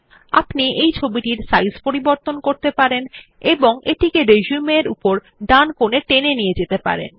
আপনি এই ছবিটির সাইজ পরিবর্তন করতে পারেন এবং এটিকে রিসিউম এর উপরের ডান কোনে টেনে নিয়ে যেতে পারেন